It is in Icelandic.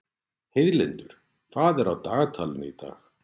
Heiðlindur, hvað er á dagatalinu í dag?